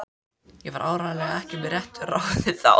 Ég var áreiðanlega ekki með réttu ráði þá.